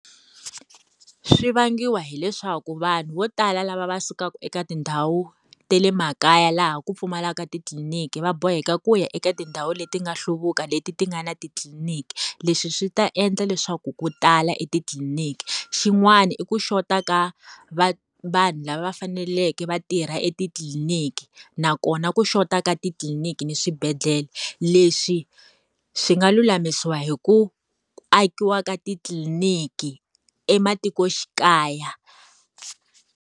Swi vangiwa hileswaku vanhu vo tala lava va sukaka eka tindhawu ta le makaya laha ku pfumalaka titliniki va boheka ku ya eka tindhawu leti nga hluvuka leti ti nga ni titliniki. Leswi swi ta endla leswaku ko tala etitliniki. Xin'wani i ku xota ka vanhu lava va faneleke va tirha etitliniki, nakona ku xota ka titliniki ni swibedhlele. Leswi swi nga lulamisiwa hi ku akiwa ka titliniki ematikoxikaya.